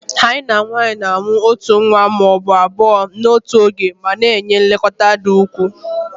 Hyenan nwanyị na-amụ otu nwa ma ọ bụ abụọ n'otu oge ma na-enye nlekọta dị ukwuu